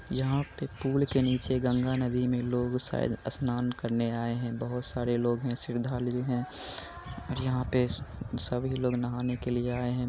यहाँ पे पूल के नीचे गंगा नदी में लोग शायद स्नान करने आए हैं। बहोत सारे लोग हैं श्रद्धालु हैं और यहाँ पे सभी लोग नहाने के लिए आये हैं।